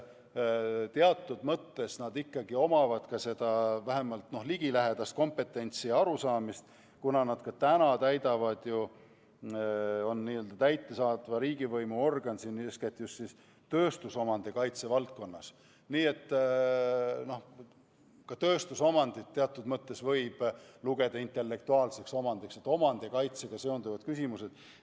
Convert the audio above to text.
Teatud mõttes on neil selles vallas vähemalt ligilähedane kompetentsus ja arusaamine, sest autorite ühing on ka praegu täidesaatva riigivõimu organ, eeskätt tööstusomandi kaitse valdkonnas – ka tööstusomandit võib teatud mõttes lugeda intellektuaalseks omandiks, sest seal on omandikaitsega seonduvad küsimused.